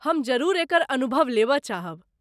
हम जरूर एकर अनुभव लेबऽ चाहब।